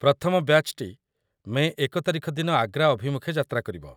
ପ୍ରଥମ ବ୍ୟାଚ୍‌ଟି ମେ ୧ ତାରିଖ ଦିନ ଆଗ୍ରା ଅଭିମୁଖେ ଯାତ୍ରା କରିବ।